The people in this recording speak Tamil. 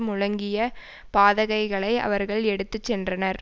முழங்கிய பதாகைகளை அவர்கள் எடுத்து சென்றனர்